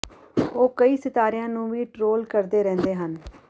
ਉਹ ਕਈ ਸਿਤਾਰਿਆਂ ਨੂੰ ਵੀ ਟ੍ਰੋਲ ਕਰਦੇ ਰਹਿੰਦੇ ਹਨ